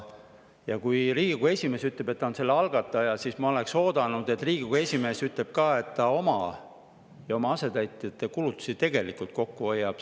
Ja kui Riigikogu esimees ütleb, et ta on selle algataja, siis ma oleksin oodanud, et ta ütleb ka seda, et ta ka tegelikult iseenda ja oma asetäitjate kulutustelt kokku hoiab.